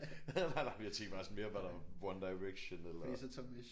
Nej nej men jeg tænkte bare sådan mere var der One Direction eller